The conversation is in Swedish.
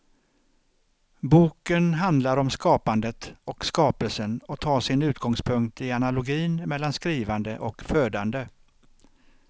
Boken handlar om skapandet och skapelsen och tar sin utgångspunkt i analogin mellan skrivande och födande.